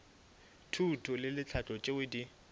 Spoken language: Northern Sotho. thuto le tlhahlo tšeo di